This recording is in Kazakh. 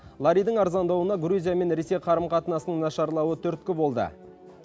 ларидің арзандауына грузия мен ресей қарым қатынасының нашарлауы түрткі болды